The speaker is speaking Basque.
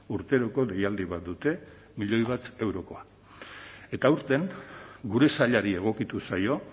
urteroko deialdi bat dute milioi bat eurokoa eta aurten gure sailari egokitu zaio